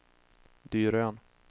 Dyrön